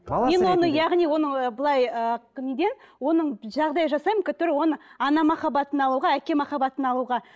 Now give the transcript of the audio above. мен оны яғни оны былай ыыы оның жағдай жасаймын который оған ана махабаттын алуға әке махаббатын алуға